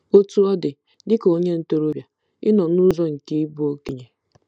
Otú ọ dị, dị ka onye ntorobịa, ị nọ n'ụzọ nke ịbụ okenye.